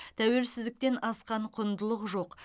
тәуелсіздіктен асқан құндылық жоқ